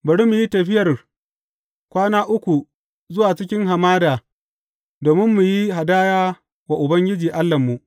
Bari mu yi tafiyar kwana uku zuwa cikin hamada domin mu yi hadaya wa Ubangiji Allahnmu.’